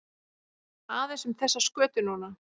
Aðeins um þessa skötu núna?